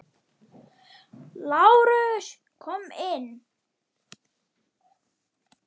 LÁRUS: Kom inn!